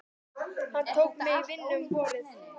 Hann tók mig í vinnu um vorið.